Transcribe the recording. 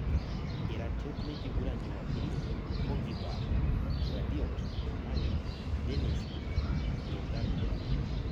Iratiot lenkiguran Jumapili; Pogiba, Rabiot, Mane, Dennis, Bogarde